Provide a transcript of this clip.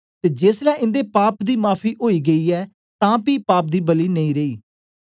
ते जेसलै इन्दे पाप दी माफी ओई गेई ऐ तां पी पाप दी बलि नेई रेई